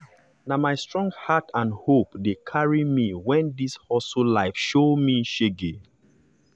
na my strong heart and hope dey carry me when this hustle life show me shege.